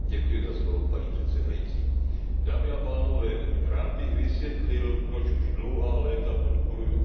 Rád bych vysvětlil, proč už dlouhá léta podporuji Arménii v jejím teritoriálním sporu o Náhorní Karabach.